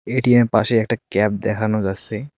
ATM পাশে একটা cab দেখানো যাস্সে।